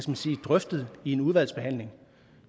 man sige drøftet i en udvalgsbehandling